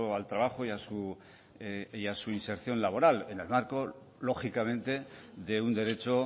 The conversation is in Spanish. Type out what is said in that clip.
al trabajo y a su inserción laboral en el marco lógicamente de un derecho